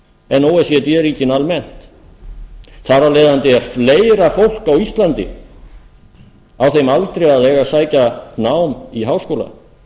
en o e c d ríkin almennt þar af leiðandi er fleira fólk á íslandi á þeim aldri að eiga að sækja nám í háskóla